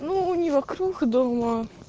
ну не вокруг дома